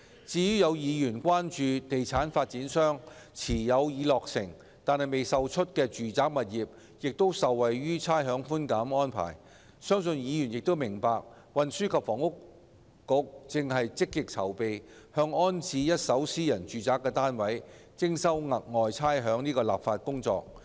至於有議員關注到，地產發展商所持有的已落成但未售出的住宅物業亦受惠於差餉寬減安排，我相信議員亦明白，運輸及房屋局正積極籌備向空置一手私人住宅單位徵收"額外差餉"的立法工作。